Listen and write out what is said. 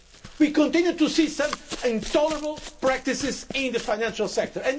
We continue to see some intolerable practices in the financial sector.